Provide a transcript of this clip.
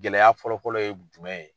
Gɛlɛya fɔlɔ fɔlɔ ye jumɛn ye.